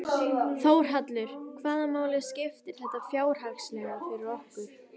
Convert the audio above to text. Þórhallur: Hvaða máli skiptir þetta fjárhagslega fyrir okkur?